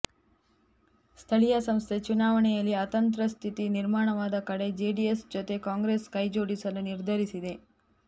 ಸ್ಥಳೀಯ ಸಂಸ್ಥೆ ಚುನಾವಣೆಯಲ್ಲಿ ಅತಂತ್ರ ಸ್ಥಿತಿ ನಿರ್ಮಾಣವಾದ ಕಡೆ ಜೆಡಿಎಸ್ ಜೊತೆ ಕಾಂಗ್ರೆಸ್ ಕೈಜೋಡಿಸಲು ನಿರ್ಧರಿಸಿದೆ